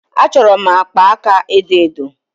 Achọrọ m akpa aka edo edo.